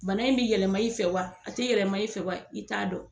Bana in bi yɛlɛma i fɛ wa a ti yɛlɛma i fɛ wa i t'a dɔn